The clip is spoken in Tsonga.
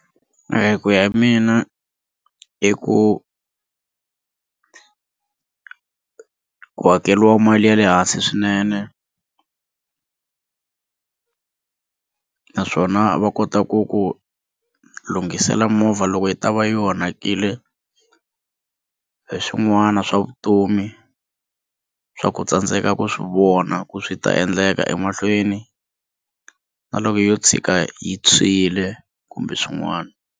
Ku ya mina i ku ku hakeriwa mali ya le hansi swinene naswona va kota ku ku lunghisela movha loko yi ta va yi onhakile hi swin'wana swa vutomi swa ku u tsandzeka ku swivona ku swi ta endleka emahlweni na loko yo tshika yi tshwile kumbe swin'wana.